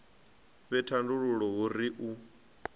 fhe thandululo hu ri u